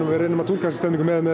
við reynum að túlka þessa stemningu með